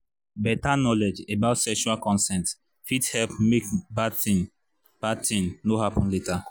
better knowledge about sexual consent fit help make bad thing bad thing no happen later